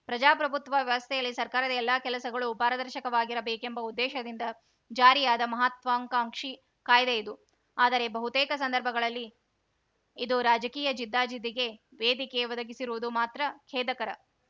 ಪ್ರಜಾಪ್ರಭುತ್ವ ವ್ಯವಸ್ಥೆಯಲ್ಲಿ ಸರ್ಕಾರದ ಎಲ್ಲ ಕೆಲಸಗಳು ಪಾರದರ್ಶಕವಾಗಿರಬೇಕೆಂಬ ಉದ್ದೇಶದಿಂದ ಜಾರಿಯಾದ ಮಹತ್ವಾಕಾಂಕ್ಷಿ ಕಾಯ್ದೆ ಇದು ಆದರೆ ಬಹುತೇಕ ಸಂದರ್ಭದಲ್ಲಿ ಇದು ರಾಜಕೀಯ ಜಿದ್ದಾಜಿದ್ದಿಗೆ ವೇದಿಕೆ ಒದಗಿಸಿರುವುದು ಮಾತ್ರ ಖೇದಕರ